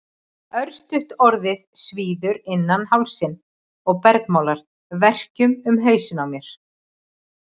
Örstutt orðið svíður innan hálsinn og bergmálar verkjum um hausinn á mér.